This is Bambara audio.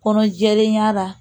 Kɔnɔ jɛlenya la